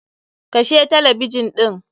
Kashe talabijin ɗin!